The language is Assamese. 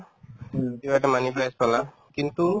কিবা এটা money place পালা কিন্তু